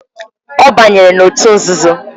Ọ banyere na òtù nzuzo.